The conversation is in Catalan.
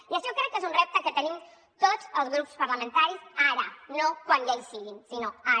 i això crec que és un repte que tenim tots els grups parlamentaris ara no quan ja hi siguin sinó ara